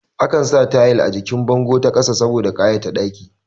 Ana saka tayal a jikin bango da ƙasa saboda ƙayata ɗakin